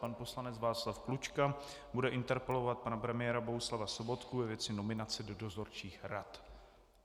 Pan poslanec Václav Klučka bude interpelovat pana premiéra Bohuslava Sobotku ve věci nominace do dozorčích rad.